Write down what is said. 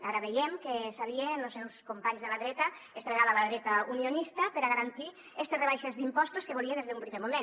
ara veiem que s’alia amb los seus companys de la dreta esta vegada la dreta unionista per a garantir estes rebaixes d’impostos que volia des d’un primer moment